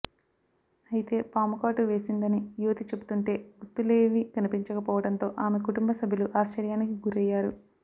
అయితే పాము కాటు వేసిందని యువతి చెబుతుంటే గుర్తులేవీ కనిపించకపోవడంతో ఆమె కుటుంబ సభ్యులు ఆశ్చర్యానికి గురయ్యారు